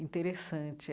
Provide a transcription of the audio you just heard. Interessante.